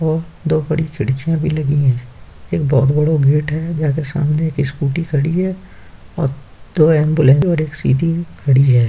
और दो बड़ी खिड़कियां भी लगी हैं| एक बहोत बड़ा गेट है| जिसके सामने एक स्कूटी खड़ी है और दो एम्बुलेंस और एक सीधी खड़ी है।